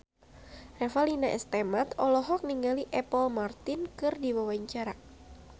Revalina S. Temat olohok ningali Apple Martin keur diwawancara